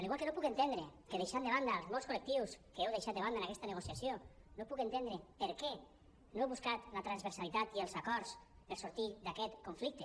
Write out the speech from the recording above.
igual que deixant de banda els molts col·lectius que heu deixat de banda en aquesta negociació no puc entendre per què no heu buscat la transversalitat i els acords per sortir d’aquest conflicte